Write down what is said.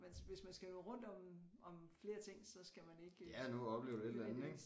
Man hvis man skal nå rundt om om flere ting så skal man ikke nødvendigvis